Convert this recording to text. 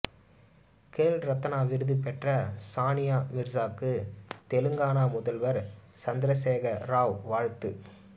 கேல் ரத்னா விருது பெற்ற சானியா மிர்சாவுக்கு தெலங்கானா முதல்வர் சந்திரசேகர ராவ் வாழ்த்து